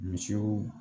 Misiw